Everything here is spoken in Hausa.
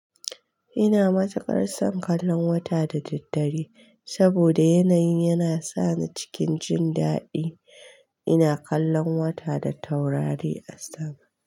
Ina matuƙar son kallon wata da daddare saboda yanayin yana sa ni cikin jin daɗi. Ina kallon wata da taurari a sama.